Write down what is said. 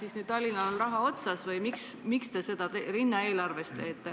Kas nüüd on Tallinnal raha linnaeelarves otsas või miks te seda teete?